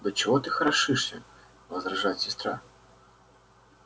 да чего ты хорошишься возражает сестра